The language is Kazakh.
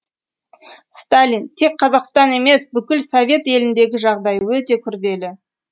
сталин тек қазақстан емес бүкіл совет еліндегі жағдай өте күрделі